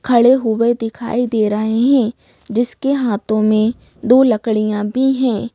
खड़े हुए दिखाई दे रहे हैं जिसके हाथों में दो लकड़ियां भी हैं।